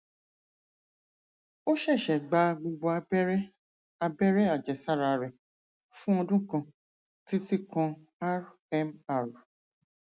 ó ṣẹṣẹ gba gbogbo abẹrẹ abẹrẹ àjẹsára rẹ fún ọdún kan títí kan rmr